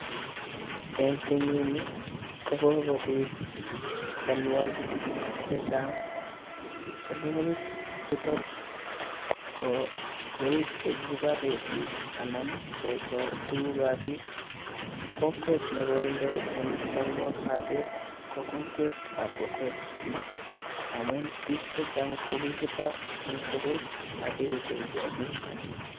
En kenyinii kogogobiit cholwogik chejang, cholwogik chuton kouu chegiboree biik anan kechoor tuguk ab biik, kokwet negoindoii en chalwognotet ko kokwet ab pokot amun piik chechang ko kigibaar en pokot ak keiben kiagiik